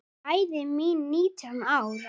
Bæði nítján ára.